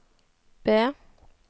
B